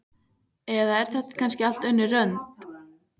Eða er þetta kannski allt önnur önd?